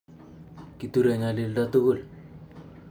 Kiture nyalinda tugul